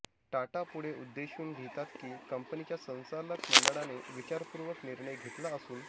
टाटा पुढे उद्देशून लिहितात की कंपनीच्या संचालक मंडळाने विचारपूर्वक निर्णय घेतला असून